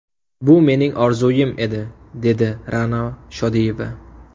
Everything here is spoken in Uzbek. Bu mening orzuim edi, dedi Ra’no Shodiyeva.